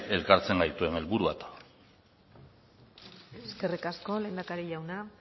elkartzen gaituen helburua eskerrik asko lehendakari jauna